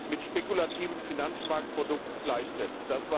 mit spekulativen Finanzmarktprodukten gleichsetzt.